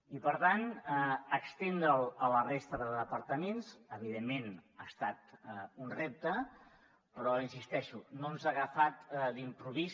i per tant estendre’l a la resta de departaments evidentment ha estat un repte però hi insisteixo no ens ha agafat d’improvís